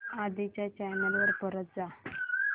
आधी च्या चॅनल वर परत जा